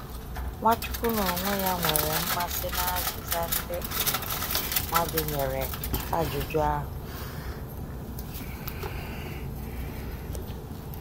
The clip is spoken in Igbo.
Nwachukwu n’onwe ya nwere mmasị na azịza ndị um mmadụ nyere ajụjụ ahụ.